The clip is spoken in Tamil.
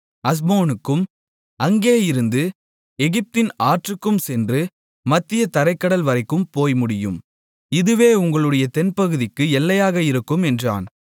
அஸ்மோனுக்கும் அங்கேயிருந்து எகிப்தின் ஆற்றுக்கும் சென்று மத்திய தரைக் கடல்வரைக்கும் போய் முடியும் இதுவே உங்களுடைய தென்பகுதிக்கு எல்லையாக இருக்கும் என்றான்